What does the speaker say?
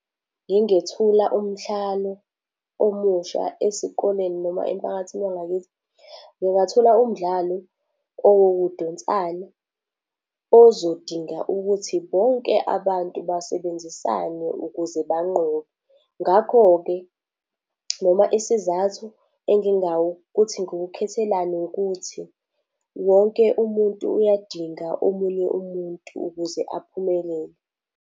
Ngingethula umdlalo omusha esikoleni noma emphakathini wangakithi, ngingathula umdlalo owokudonsana ozodinga ukuthi bonke abantu basebenzisane ukuze banqobe. Ngakho-ke noma isizathu ukuthi ngiwukhethelani ukuthi wonke umuntu uyadinga omunye umuntu ukuze aphumelele.